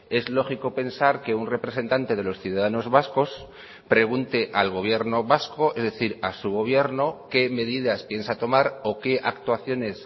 es lógico pensar que un representante de los ciudadanos vascos pregunte al gobierno vasco es decir a su gobierno qué medidas piensa tomar o qué actuaciones